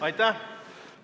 Aitäh!